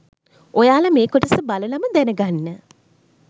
ඔයාලා මෙ කොටස බලලම දැන ගන්න